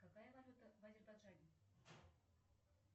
какая валюта в азербайджане